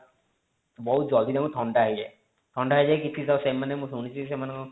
ବହୁତ ଜଲ୍ଦି ତାଙ୍କୁ ଥଣ୍ଡା ହେଇଯାଏ ଥଣ୍ଡା ହେଇଯାଏ ତ ସେମାନେ ମୁଁ ଶୁଣିଛି